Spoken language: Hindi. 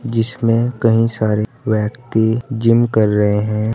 जिसमें कई सारे व्यक्ति जिम कर रहे हैं।